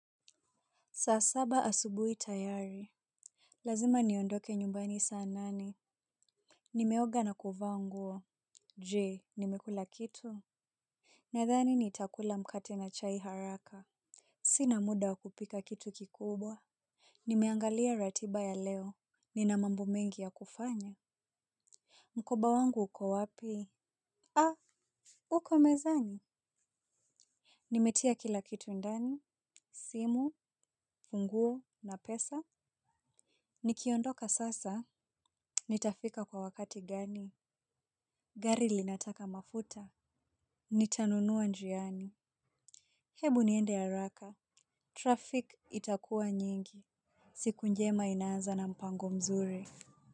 Saa saba asubuhi tayari. Lazima niondoke nyumbani saa nane. Nimeoga na kuvaa nguo. Jee nimekula kitu. Nadhani nitakula mkate na chai haraka. Sina muda wa kupika kitu kikubwa. Nimeangalia ratiba ya leo. Je nimekula kitu. Nadhani nitakula mkate na chai haraka. Mkoba wangu uko wapi? Ah uko mezani. Nimetia kila kitu ndani simu funguo na pesa. Nikiondoka sasa, nitafika kwa wakati gani. Gari linataka mafuta. Nitanunua njiani. Hebu niende haraka, traffic itakuwa nyingi. Siku njema inaanza na mpango mzuri.